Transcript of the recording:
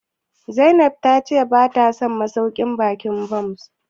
Zainab ta ce bata son masauƙin baƙin Bon?